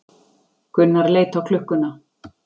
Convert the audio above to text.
Gunnar leit á klukkuna.